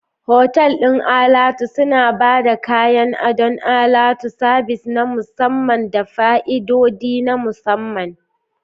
Otal ɗin alatu suna ba da kayan adon alatu, sabis na musamman, da fa'idodi na musamman.